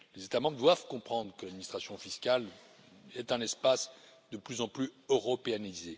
Les États membres doivent comprendre que l'administration fiscale est un espace de plus en plus européanisé.